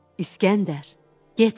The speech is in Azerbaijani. İskəndər, getmə.